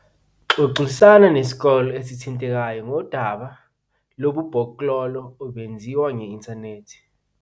Xoxisana nesikolo esithintekayo ngodaba lobubhoklolo obenziwa nge-inthanethi.